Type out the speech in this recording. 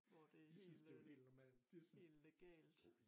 Hvor det helt øh helt legalt